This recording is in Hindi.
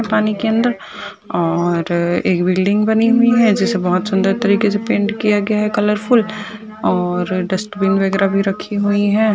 पानी के अंदर और एक बिल्डिंग बनी हुई है जिसे बहुत सुन्दर तरीके पेंट किया गया है कलरफुल और डस्टबिन वगेरा भी रखी हुई है।